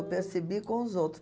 Eu percebi com os outro.